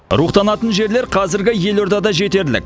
рухтанатын жерлер қазіргі елордада жетерлік